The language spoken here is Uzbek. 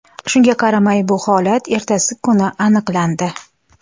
Shunga qaramay, bu holat ertasi kuni aniqlandi.